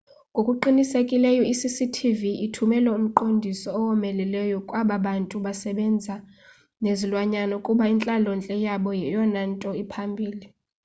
ngokuqinisekileyo i-cctv ithumela umqondiso owomeleleyo kwaba bantu basebenza nezilwanyana ukuba intlalontle yabo yeyona nto iphambili